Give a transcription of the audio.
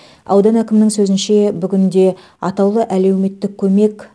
аудан әкімінің сөзінше бүгінде атаулы әлеуметтік көмек